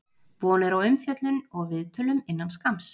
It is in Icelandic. Von er á umfjöllun og viðtölum innan skamms.